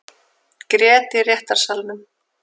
Grét í réttarsalnum